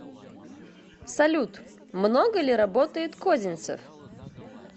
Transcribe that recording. салют много ли работает козинцев